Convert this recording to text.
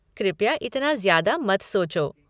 कृपया इतना ज़्यादा मत सोचो।